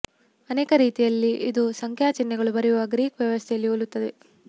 ಅನೇಕ ರೀತಿಯಲ್ಲಿ ಇದು ಸಂಖ್ಯಾ ಚಿಹ್ನೆಗಳು ಬರೆಯುವ ಗ್ರೀಕ ವ್ಯವಸ್ಥೆಯಲ್ಲಿ ಹೋಲುತ್ತದೆ